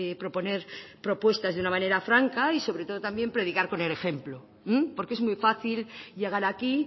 proponer propuestas de una manera franca y sobre todo también predicar con el ejemplo porque es muy fácil llegar aquí